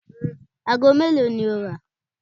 Aago mélòó ni ó rà?